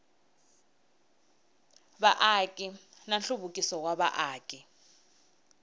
vaaki na nhluvukiso wa vaaki